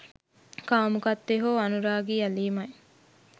කාමුකත්වය හෝ අනුරාගී ඇලීම යි.